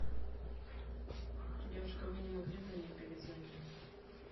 девушка вы не могли бы мне перезвонить